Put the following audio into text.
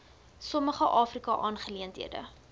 sommige afrika aangeleenthede